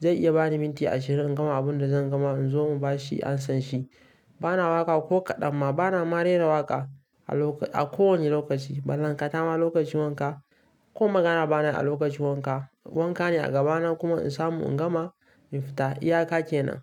zai iya bani minti ashirin in gama abin da zan gama in zo mu ba shi amsa shi. Bana waƙa ko kaɗan ma bana ma rera waƙa a kowane lokaci. Ballantana ma lokacin wanka ko magana bana yi a lokacin wanka. Wanka ne a gaba nan kuma in samu in gama in fita. Iyaka ke nan.